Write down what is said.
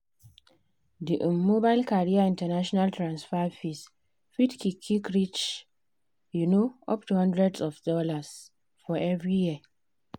the um mobile carrier international transfer fees fit qik qik reach um up to hundreds of dollars for every year.